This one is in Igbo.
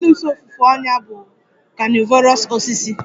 Venus ofufe ọnyà bụ a carnivorous osisi